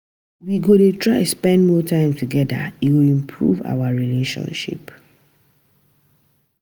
We go dey try spend more time togeda, e go improve our relationship.